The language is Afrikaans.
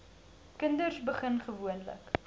kinders begin gewoonlik